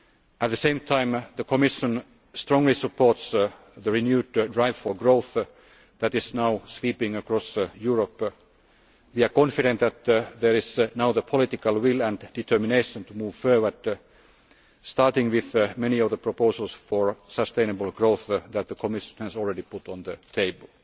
finances. At the same time, the Commission strongly supports the renewed drive for growth that is now sweeping across Europe. We are confident that there is now the political will and determination to move forward, starting with many of the proposals for sustainable growth that the Commission has already put